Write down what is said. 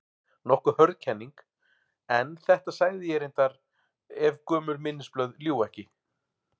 Nokkuð hörð kenning, en þetta sagði ég reyndar- ef gömul minnisblöð ljúga ekki.